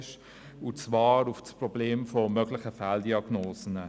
Es geht um das Problem der möglichen Fehldiagnosen.